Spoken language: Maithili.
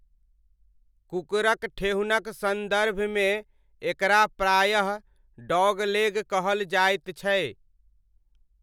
कुकुरक ठेहुनक सन्दर्भमे एकरा प्रायः 'डॉगलेग' कहल जाइत छै।